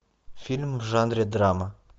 фильм в жанре драма